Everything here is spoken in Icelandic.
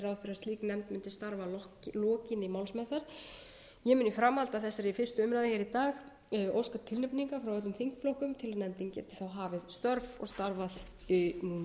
slík nefnd muni starfa að lokinni málsmeðferð ég mun í framhaldi af þessari fyrstu umræðu í dag óska tilnefningar frá öllum þingflokkum til að geta hafið störf og starfað núna í vetur að lokum er í